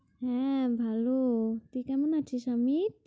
হম ভালো। তো কেমন আছো সমির?